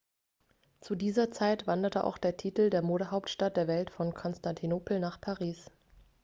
zu dieser zeit wanderte auch der titel der modehauptstadt der welt von konstantinopel nach paris